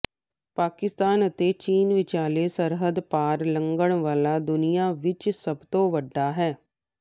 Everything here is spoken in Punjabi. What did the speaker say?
ਪਾਕਿਸਤਾਨ ਅਤੇ ਚੀਨ ਵਿਚਾਲੇ ਸਰਹੱਦ ਪਾਰ ਲੰਘਣ ਵਾਲਾ ਦੁਨੀਆ ਵਿਚ ਸਭ ਤੋਂ ਵੱਡਾ ਹੈ